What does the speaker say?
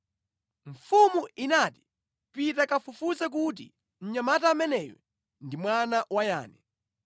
Mfumu inati, “Pita kafufuze kuti mnyamata ameneyu ndi mwana wa yani.”